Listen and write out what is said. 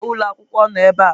Ụgbọ ala ụlọ akwụkwọ noo ebe a.